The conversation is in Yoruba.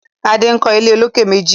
Ade nkọ ilé olokè méjì